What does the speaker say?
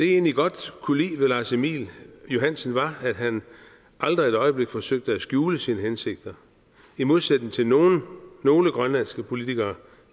egentlig godt kunne lide ved lars emil johansen var at han aldrig et øjeblik forsøgte at skjule sine hensigter i modsætning til nogle nogle grønlandske politikere